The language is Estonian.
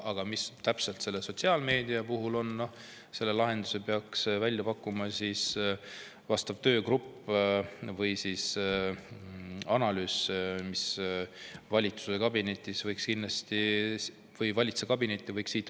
Aga mida täpselt selle sotsiaalmeediaga teha, selle lahenduse peaks välja pakkuma töögrupp või analüüs, mis võiks siit Riigikogust valitsuskabinetti minna.